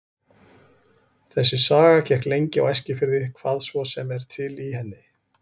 Þessi saga gekk lengi á Eskifirði, hvað svo sem er til í henni.